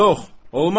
Yox, olmaz.